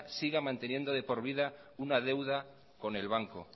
siga manteniendo de por vida una deuda con el banco